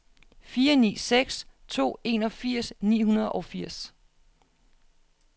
fire ni seks to enogfirs ni hundrede og firs